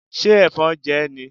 Ṣé Ẹ̀fọn jẹ ẹ́ ni?